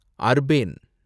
urban